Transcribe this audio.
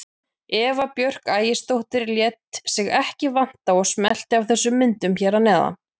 Eva Björk Ægisdóttir lét sig ekki vanta og smellti af þessum myndum hér að neðan.